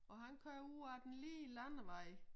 Og han kører ud af den lige landevej